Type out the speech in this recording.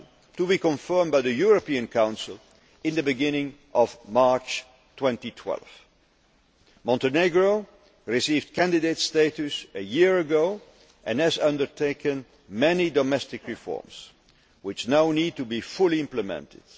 next year, to be confirmed by the European Council at the beginning of March 2012. Montenegro received candidate status a year ago and has undertaken many domestic reforms, which now need to be fully implemented.